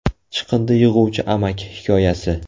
Chiqindi yig‘uvchi amaki hikoyasi.